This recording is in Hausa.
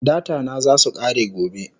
Data na zasu kare gobe